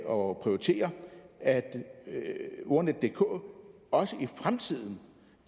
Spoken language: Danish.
og prioritere at ordnetdk også i fremtiden